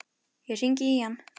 Ég hringdi í hann.